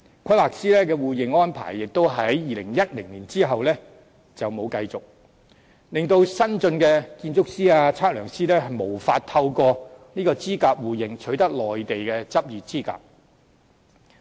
規劃師的互認安排亦在2010年後沒有再繼續進行，令新進的建築師、測量師無法透過資格互認取得內地的執業資格。